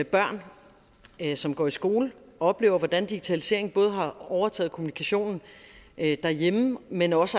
børn som går i skole oplever hvordan digitaliseringen både har overtaget kommunikationen derhjemme men også